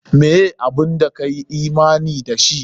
Meh abun da ka yi imani da shi?